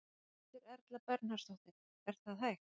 Berghildur Erla Bernharðsdóttir: Er það hægt?